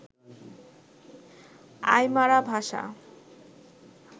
Aymara ভাষা